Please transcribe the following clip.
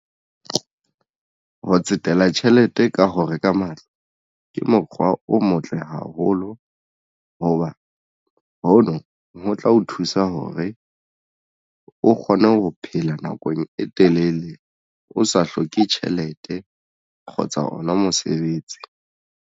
Ho tsetela tjhelete ka ho reka matlo ke mokgwa o motle haholo hoba hono ho tla o thusa hore o kgone ho phela nakong e telele o sa hloke tjhelete kgotsa ona mosebetsi.